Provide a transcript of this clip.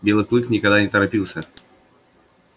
белый клык никогда не торопился